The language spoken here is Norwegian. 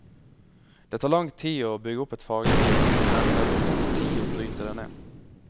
Det tar lang til å bygge opp et fagmiljø, men det tar kort tid å bryte det ned.